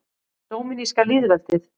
Dóminíska lýðveldið